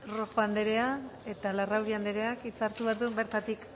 rojo anderea eta larrauri andereak hitza hartu behar du bertatik